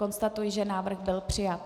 Konstatuji, že návrh byl přijat.